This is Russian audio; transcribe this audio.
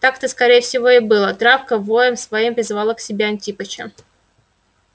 так-то скорее всего и было травка воем своим призывала к себе антипыча